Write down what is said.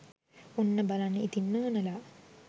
ඔන්න බලන්න ඉතිං නෝනලා